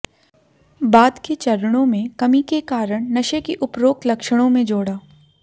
बाद के चरणों में कमी के कारण नशे की उपरोक्त लक्षणों में जोड़ा